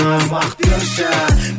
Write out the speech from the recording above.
уақыт берші